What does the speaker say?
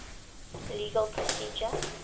legal procedure